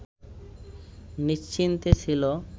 নিশ্চিন্তে ছিল